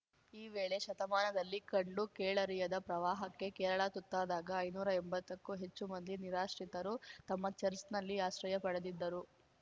ಈ ವೇಳೆ ಶತಮಾನದಲ್ಲಿ ಕಂಡು ಕೇಳರಿಯದ ಪ್ರವಾಹಕ್ಕೆ ಕೇರಳ ತುತ್ತಾದಾಗ ಐನೂರಾ ಎಂಬತ್ತಕ್ಕೂ ಹೆಚ್ಚು ಮಂದಿ ನಿರಾಶ್ರಿತರು ತಮ್ಮ ಚರ್ಚ್ ನಲ್ಲಿ ಆಶ್ರಯ ಪಡೆದಿದ್ದರು